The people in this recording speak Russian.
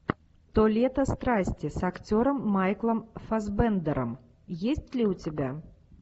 то лето страсти с актером майклом фассбендером есть ли у тебя